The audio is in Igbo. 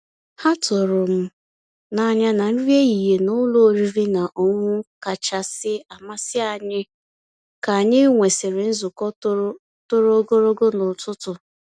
Há tụ̀rụ́ m n'anyà ná nrí èhihie ná ụ́lọ̀ ọ̀rị́rị́ ná ọ̀ṅụ̀ṅụ̀ kàchàsị́ àmàsí ànyị́ kà ànyị́ nwèsị́rị́ nzukọ́ tòró tòró ògòlógò n'ụ̀tụtụ̀.